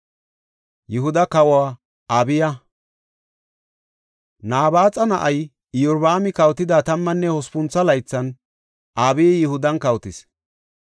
Nabaaxa na7ay Iyorbaami kawotida tammanne hospuntho laythan Abiyi Yihudan kawotis.